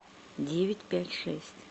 девять пять шесть